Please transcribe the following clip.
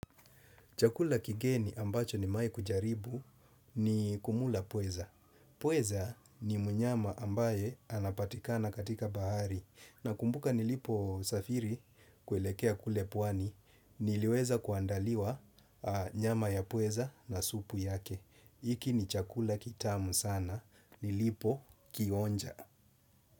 Chakula kigeni ambacho nimewai kujaribu ni kumla pweza. Pweza ni mnyama ambaye anapatikana katika bahari. Na kumbuka niliposafiri kuelekea kule pwani, niliweza kuandaliwa nyama ya pweza na supu yake. Iki ni chakula kitamu sana, nilipokionja.